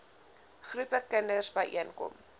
groepe kinders byeenkom